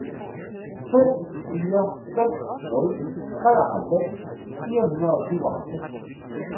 to fire fem nul treoghalvfems fire hundrede og syvoghalvfems